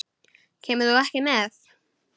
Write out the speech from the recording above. Kemur þú ekki með?